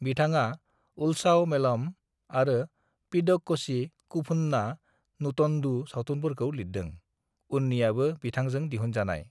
"बिथाङा उल्सावमेलम आरो पिदक्कोझी कुभुन्ना नुटन्डु सावथुनफोरखौ लिरदों, उननियाबो बिथांजों दिहुनजानाय।"